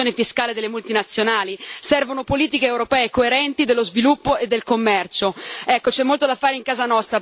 Servono politiche europee coerenti in materia di sviluppo e commercio. Ecco, c'è molto da fare in casa nostra per affrontare le ragioni delle partenze.